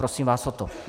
Prosím vás o to.